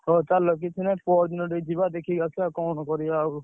ହଉ ଚାଲ କିଛି ନାହିଁ ପହର ଦିନ ଟିକେ ଯିବା ଦେଖେଇକି ଆସିଆ କଣ କରିଆ ଆଉ।